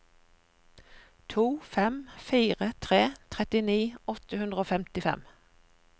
to fem fire tre trettini åtte hundre og femtifem